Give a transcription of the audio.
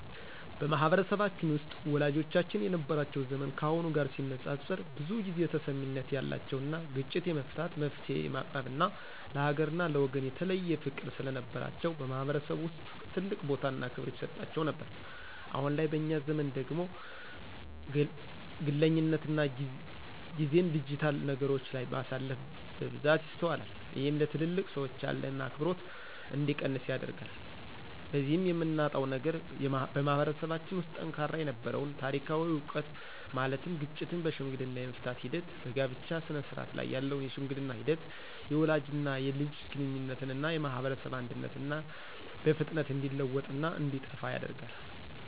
በማህበረሰባችን ውስጥ ወላጆቻችን የነበራቸው ዘመን ካሁኑ ጋር ሲነፃፀር ብዙ ጊዜ ተሰሚነት ያላቸውና ግጭት የመፍታት፣ መፍትሔ የማቅረብና ለሀገርና ለወገን የተለየ ፍቅር ስለነበራቸው በማህበረሰቡ ውስጥ ትልቅ ቦታና ክብር ይሰጣቸው ነበር። አሁን ላይ በእኛ ዘመን ደግሞ ግለኝነትና ጊዜን ዲጂታል ነገሮች ላይ ማሳለፍ በብዛት ይስተዋላል። ይህም ለትልልቅ ሰዎች ያለን አክብሮት እንዲቀንስ ያደርጋል። በዚህም የምናጣው ነገር በማህበረሰባችን ውስጥ ጠንካራ የነበረውን ታሪካዊ ዕውቀት ማለትም ግጭቶችን በሽምግልና የመፍታት ሂደት፣ በጋብቻ ስነስርዓት ላይ ያለውን የሽምግልና ሂደት፣ የወላጅና የልጅ ግንኙነትና የማህበረሰብ አንድነትና በፍጥነት እንዲለወጥና እንዲጠፋ ያደርጋል።